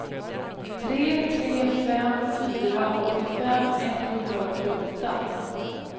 tre tre fem fyra åttiofem etthundraåttioåtta